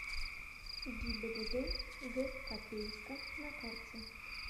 гибдд г копейска на карте